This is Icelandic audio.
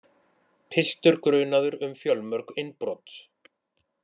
Piltur grunaður um fjölmörg innbrot